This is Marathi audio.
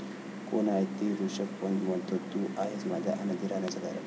कोण आहे ती? ऋषभ पंत म्हणतो, तू आहेस माझ्या आनंदी राहण्याचं कारण